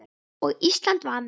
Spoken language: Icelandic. Og Ísland var með.